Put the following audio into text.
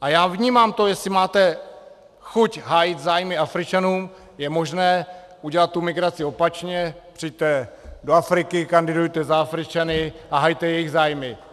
A já vnímám to, jestli máte chuť hájit zájmy Afričanů, je možné udělat tu migraci opačně, přijďte do Afriky, kandidujte za Afričany a hajte jejich zájmy.